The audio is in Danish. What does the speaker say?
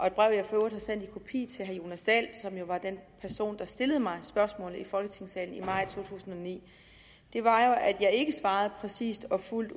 et brev jeg for øvrigt har sendt i kopi til herre jonas dahl som jo var den person der stillede mig spørgsmålet i folketingssalen i maj to tusind og ni var at jeg ikke svarede præcist og fuldt